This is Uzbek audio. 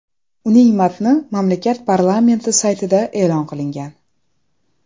Uning matni mamlakat parlamenti saytida e’lon qilingan .